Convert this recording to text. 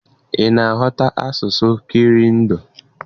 Ị ná-aghọta asụsụ Kirundi?